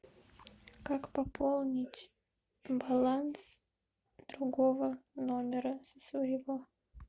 как пополнить баланс другого номера со своего